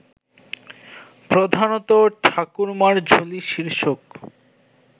প্রধানত ঠাকুরমার ঝুলি শীর্ষক